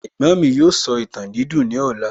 Ẹ̀gbọ́n mi yóò sọ ìtàn dídùn ní ọ̀la